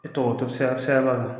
E to sira siraba la